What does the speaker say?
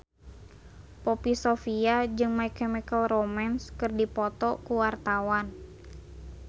Poppy Sovia jeung My Chemical Romance keur dipoto ku wartawan